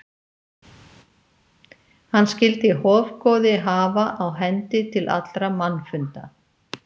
Hann skyldi hofgoði hafa á hendi til allra mannfunda.